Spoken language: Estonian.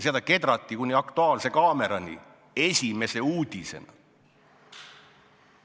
Seda kedrati kuni "Aktuaalse kaamerani" esimese uudisena.